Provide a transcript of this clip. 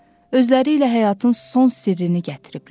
Özələriylə həyatın son sirrini gətiriblər.